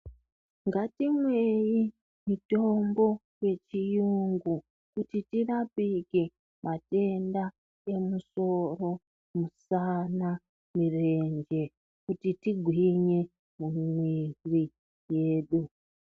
Ngatimwei mitombo yechirungu kuti tirapike matenda emusoro misana mirenje kuti tigwinye mwiri yedu.